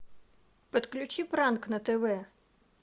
подключи пранк на тв